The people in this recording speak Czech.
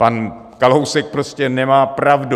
Pan Kalousek prostě nemá pravdu.